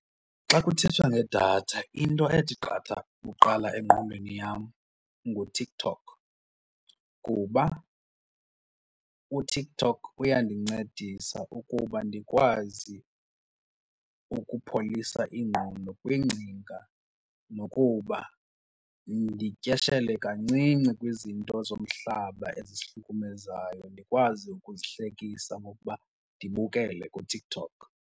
Xa kuthethwa ngedatha into ethi qatha kuqala engqondweni yam nguTikTok kuba uTikTok uyandincedisa ukuba ndikwazi kuba ukupholisa ingqondo kwiingcinga nokuba ndityeshele kancinci kwizinto zomhlaba ezihlukumezayo, ndikwazi ukuzihlekisa ngokuba ndibukele kuTikTok.